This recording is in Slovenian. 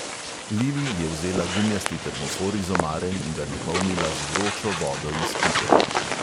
Lili je vzela gumijasti termofor iz omare in ga napolnila z vročo vodo iz pipe.